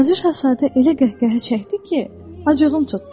Balaca şahzadə elə qəhqəhə çəkdi ki, acığım tutdu.